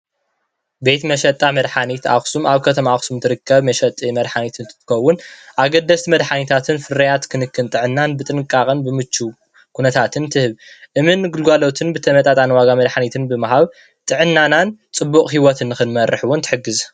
ቤተ መሸጣ መድሓኒት ኣክሱም ኣብ ከተማ ኣክሱም እትርከብ መሸጢ መድሓኒት እንትትከውን ኣገደስቲ መድሓኒታትን ፍርያትን ክንክን ጥዕናን በጥንቃቀን ብምችውን ኩነታትን ትህብ። እሙን ግልጋሎትን ብተመጠጣኒ ዋጋ መድሓኒትን ብምሃብ ጥዕናናን ፅቡቅ ሂዎት ንክንመርሕ እውን ትሕግዝ።